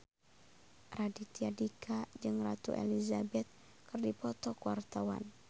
Raditya Dika jeung Ratu Elizabeth keur dipoto ku wartawan